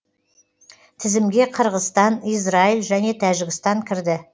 тізімге қырғызстан израиль және тәжікстан кірді